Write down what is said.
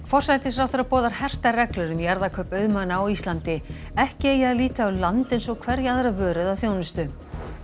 forsætisráðherra boðar hertar reglur um jarðakaup auðmanna á Íslandi ekki eigi að líta á land eins og hverja aðra vöru eða þjónustu